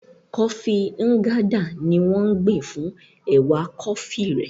Kọfí Nganda ni wọ́n ń gbìn fún ẹ̀wà kọfí rẹ̀.